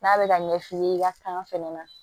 N'a bɛ ka ɲɛ f'i ye i ka kan fɛnɛ na